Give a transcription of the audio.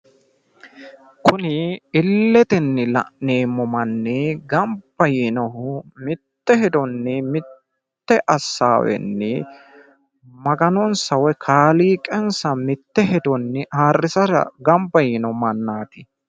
Kuni illetenni la'neemmo manni gamba yiinohu mitte hedoonni mutte assaweenni maganonsa woy kaaliiqansa mitte hedonni ayyrsara gamba yiino mannaati.